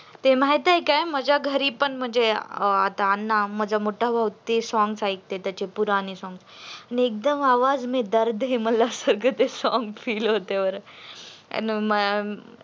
ते माहीत आहे काय माझ्या घरी पण म्हणजे अ आता अण्णा माझा मोठा ते songs ऐकते त्याचे पुराणे songs एकदम आग ते आवाज मध्ये दर्द आहे मला song feel होतय बर त्या मुळे ते